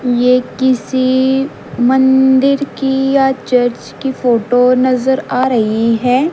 ये किसी मंदिर की या चर्च की फोटो नजर आ रही हैं।